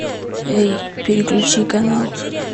эй переключи канал